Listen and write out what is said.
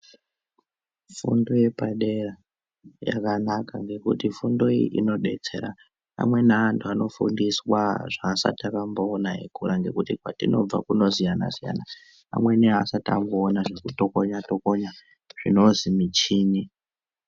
Fundo yepadera yakanaka ngekuti fundo iyi inodetsera. Amweni antu anofundiswa zvaasati akamboona ngekuti kwetinobva kunosiyanasiyana. Amweni asati amboona zvekutokonya tokonya zvinozwi zvimichini.